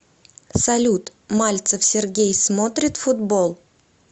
салют мальцев сергей смотрит футбол